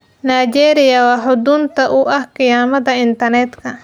Nigeria waa xudunta u ah khiyaamada internetka